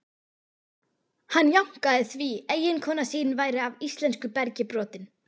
Hann jánkaði því, eiginkona sín væri af íslensku bergi brotin.